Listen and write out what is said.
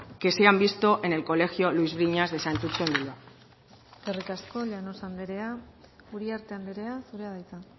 que se han visto en el colegio luis briñas de santutxu en bilbao eskerrik asko llanos anderea uriarte anderea zurea da hitza